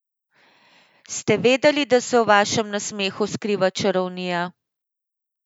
Ste vedeli, da se v vašem nasmehu skriva čarovnija?